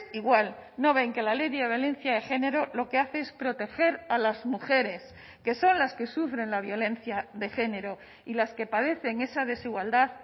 igual no ven que la ley de violencia de género lo que hace es proteger a las mujeres que son las que sufren la violencia de género y las que padecen esa desigualdad